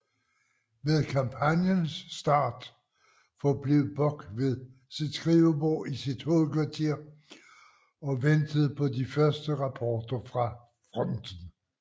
Ved kampagnens start forblev Bock ved sit skrivebord i sit hovedkvarter og ventede på de første rapporter fra fronten